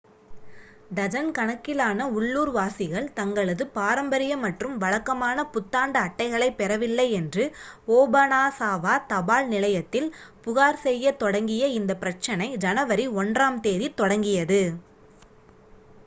dozen கணக்கிலான உள்ளூர்வாசிகள் தங்களது பாரம்பரிய மற்றும் வழக்கமான புத்தாண்டு அட்டைகளைப் பெறவில்லை என்று ஓபனாசாவா தபால் நிலையத்தில் புகார் செய்யத் தொடங்கிய இந்த பிரச்சனை ஜனவரி 1-ஆம் தேதி தொடங்கியது